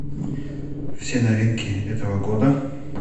все новинки этого года